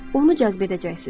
onu cəzb edəcəksiniz.